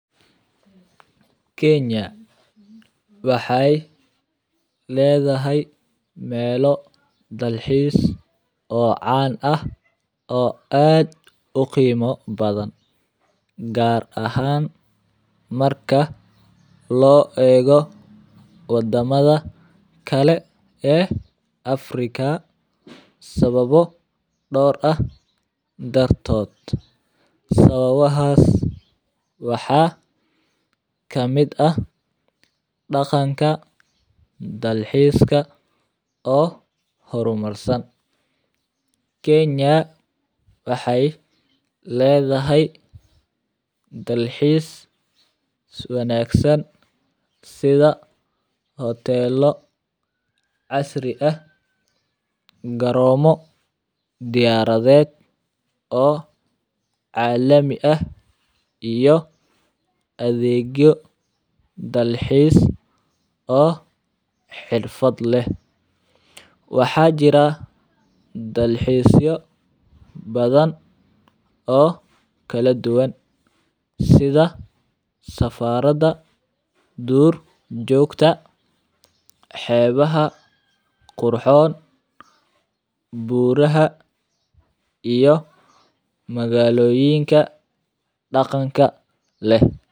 Kenya waxay leedahay meelo dalxiis oo caan ah oo aad u qiimo badan, gaar ahaan marka loo eego waddamada kale ee Africa sababo door ah dartood. Sababahaas waxaa ka mid ah dhaqanka dalxiiska oo horumarsan. Kenya waxay leedahay dalxiis wanaagsan sida hoteello casri ah, garoomo diyaaradeed oo caalami ah iyo adeegyo dalxiis oo xirfad leh. Waxaa jira dalxiisyo badan oo kala duwan sida safarada, duur joogta, xeebaha qurxoon, buuraha iyo magaalooyinka dhaqanka leh.